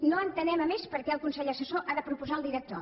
no entenem a més perquè el consell assessor ha de proposar el director